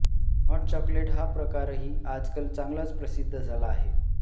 hot chocolate हा प्रकारही आजकाल चांगलाच प्रसिद्ध झाला आहे